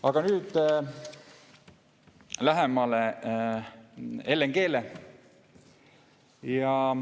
Aga nüüd lähemale LNG-le.